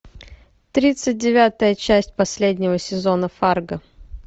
тридцать девятая часть последнего сезона фарго